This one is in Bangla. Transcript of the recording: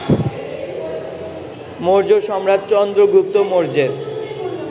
মৌর্য সম্রাট চন্দ্রগুপ্ত মৌর্যের